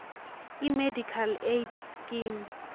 imedical aid scheme